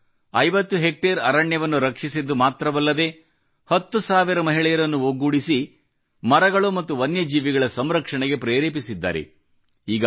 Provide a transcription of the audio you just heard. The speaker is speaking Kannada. ಅವರು 50 ಹೆಕ್ಟೇರ್ ಅರಣ್ಯವನ್ನು ರಕ್ಷಿಸಿದ್ದು ಮಾತ್ರವಲ್ಲದೆ 10 ಸಾವಿರ ಮಹಿಳೆಯನ್ನು ಒಗ್ಗೂಡಿಸಿ ಮರಗಳು ಮತ್ತು ವನ್ಯಜೀವಿಗಳ ಸಂರಕ್ಷಣೆಗೆ ಪ್ರೇರೆಪಿಸಿದ್ದಾರೆ